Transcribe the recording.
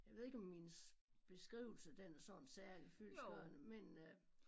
Jeg ved ikke om min beskrivelse den er sådan særlig fyldestgørende men øh